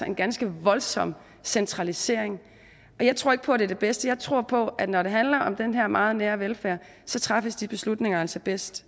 en ganske voldsom centralisering og jeg tror ikke på at det er det bedste jeg tror på at når det handler om den her meget nære velfærd træffes de beslutninger altså bedst